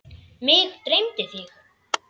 Mig dreymdi þig.